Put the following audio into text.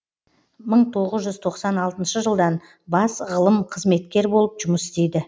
мың тоғыз жүз тоқсан алтыншы жылдан бас ғылым қызметкер болып жұмыс істейді